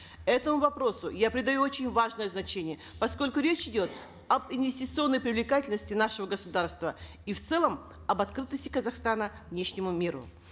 этому вопросу я придаю очень важное значение поскольку речь идет об инвестиционной привлекательности нашего государства и в целом об открытости казахстана внешнему миру